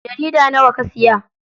Jarida nawa ka siya?